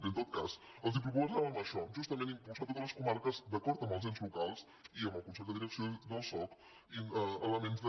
bé en tot cas els propo·sàvem això justament impulsar totes les comarques d’acord amb els ens locals i amb el consell de direcció del soc elements de